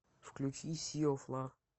включи си оф лав